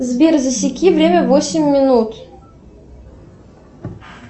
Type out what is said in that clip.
сбер засеки время восемь минут